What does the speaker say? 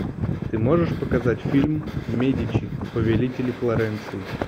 ты можешь показать фильм медичи повелители флоренции